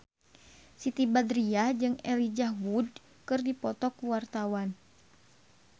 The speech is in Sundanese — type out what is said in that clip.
Siti Badriah jeung Elijah Wood keur dipoto ku wartawan